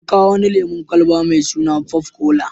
An kawo wani lemon kwalaba mai sun popcola.